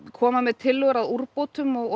koma með tillögur að úrbótum og